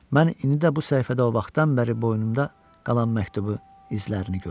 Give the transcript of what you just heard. Mən indi də bu səhifədə o vaxtdan bəri boynumda qalan məktubu, izlərini gördüm.